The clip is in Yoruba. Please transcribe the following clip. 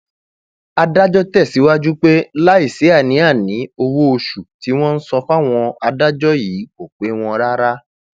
adájọ tẹsíwájú pé um láì sí àníàní owóoṣù tí wọn ń san fáwọn adájọ yìí kò pè wọn um rárá